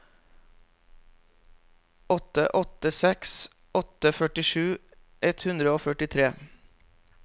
åtte åtte seks åtte førtisju ett hundre og førtifire